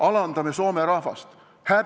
Alandame soome rahvast?